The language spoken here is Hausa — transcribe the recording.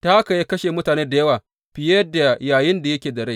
Ta haka ya kashe mutane da yawa fiye da yayinda yake da rai.